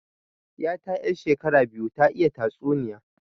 'Yata 'yar shekara biyu ta iya tatsuniya